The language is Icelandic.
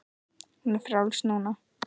Hún er frjáls núna.